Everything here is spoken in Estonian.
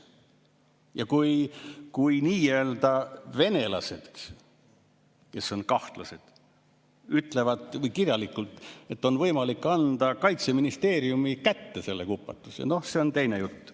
Ja kui nii-öelda venelased, kes on kahtlased, ütlevad kirjalikult, et on võimalik anda Kaitseministeeriumi kätte see kupatus, siis noh, see on teine jutt.